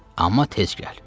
Amma tez gəl.